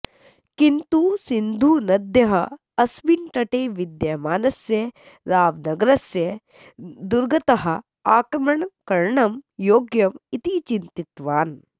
किन्तु सिन्धूनद्याः अस्मिन् तटे विद्यमानस्य रावर्नगरस्य दुर्गतः आक्रमणकरणं योग्यम् इति चिन्तितवान्